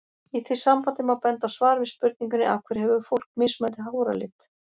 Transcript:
Í því sambandi má benda á svar við spurningunni Af hverju hefur fólk mismunandi háralit?